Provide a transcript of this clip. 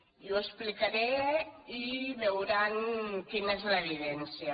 i ho explicaré i veuran quina és l’evidència